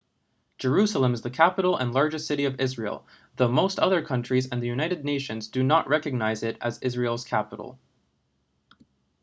jerusalem is the capital and largest city of israel though most other countries and the united nations do not recognize it as israel's capital